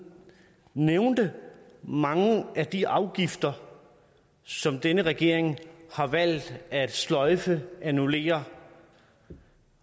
nævnte mange af de afgifter som denne regering har valgt at sløjfe annullere